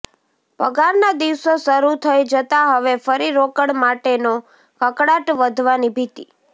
પગારના દિવસો શરૃ થઈ જતાં હવે ફરી રોકડ માટેનો કકળાટ વધવાની ભીતિ